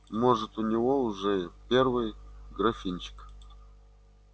может у него уже первый графинчик